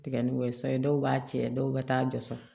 Tigɛ ni o ye sayi dɔw b'a cɛ dɔw bɛ taa jɔsɔrɔ